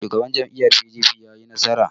Shugaban jam'iyyar PDP ya yi nasara?